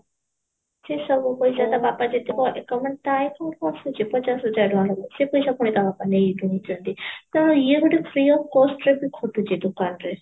ସେ ସବୁ ପଇସା ତା ବାପା ଥାଏ ପଚାଶ ହଜାର ଟଙ୍କା ସେ ପଇସା ପୁଣି ତା ବାପା ନେଇଯାଇଛନ୍ତି କାରଣ ଇଏ ଗୋଟେ free of cost ରେ ଖଟୁଛି ଦୋକାନ ରେ